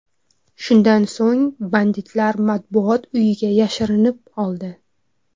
Shundan so‘ng banditlar Matbuot uyiga yashirinib oldi.